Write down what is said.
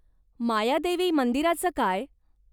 मायादेवी मंदिराचं काय?